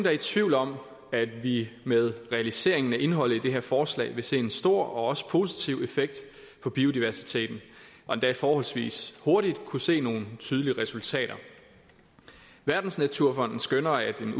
er i tvivl om at vi med realiseringen af indholdet i det her forslag vil se en stor og også positiv effekt på biodiversiteten og endda forholdsvis hurtigt kunne se nogle tydelige resultater verdensnaturfonden skønner at en